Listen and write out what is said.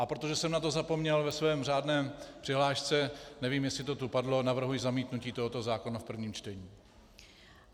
A protože jsem na to zapomněl ve své řádné přihlášce, nevím, jestli to tu padlo, navrhuji zamítnutí tohoto zákona v prvním čtení.